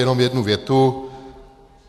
Jenom jednu větu.